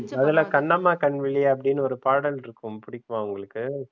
அதுல கண்ணம்மா கண்வழி அப்டின்னு ஒரு பாடல் இருக்கும் புடிக்குமா உங்களுக்கு?